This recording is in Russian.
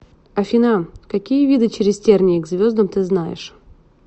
афина какие виды через тернии к звездам ты знаешь